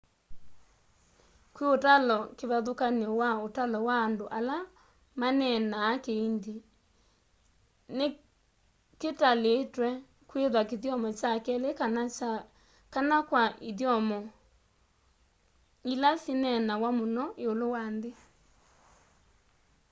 kwi utalo kivathũkany'o wa ũtalo wa andũ ala maneneenaa kihindi ni kitalitwe kwitha kithyomo kya keli kana kya kana kwa ithyomo ila syineenawa mũno iũlu wa nthi